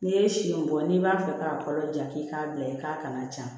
N'i ye siɲɛ bɔ n'i b'a fɛ k'a balo ja k'i k'a bila i k'a kana ja